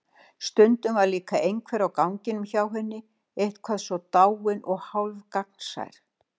Stundum var líka einhver á ganginum hjá henni eitthvað svo dáinn og hálfgagnsær.